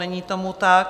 Není tomu tak.